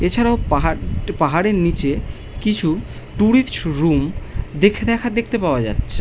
এছাড়াও পাহাড় একটি পাহাড় এর নিচে টুরিস্ট রুম দেখে দেখা দেখতে পাওয়া যাচ্ছে।